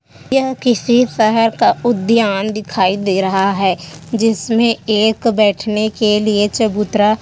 यह किसी शहर का उद्यान दिखाई दे रहा है जिसमें एक बैठने के लिए चबूतरा --